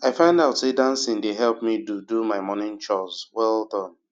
i find out say dancing dey help me do do my morning chores well Accepted